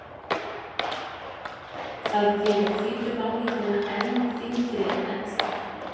Það gerir hvítu málninguna enn þyngri en ella.